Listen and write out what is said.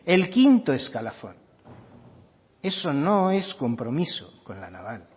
el quinto escalafón eso no es compromiso con la naval